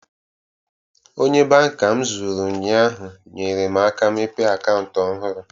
Onye banka m zụrụ ụnyaahụ, nyere m aka mepee akantu ọhụrụ